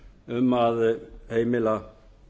um að heimila